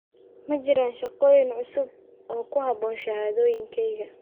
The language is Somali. ma jiraan shaqooyin cusub oo ku habboon shahaadooyinkayga